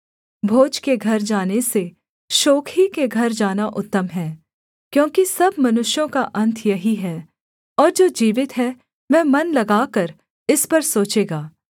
भोज के घर जाने से शोक ही के घर जाना उत्तम है क्योंकि सब मनुष्यों का अन्त यही है और जो जीवित है वह मन लगाकर इस पर सोचेगा